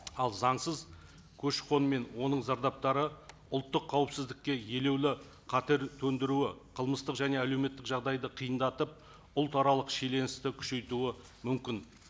ал заңсыз көші қон мен оның зардаптары ұлттық қауіпсіздікке елеулі қатер төндіруі қылмыстық және әлеуметтік жағдайды қиындатып ұлтаралық шиеленісті күшейтуі мүмкін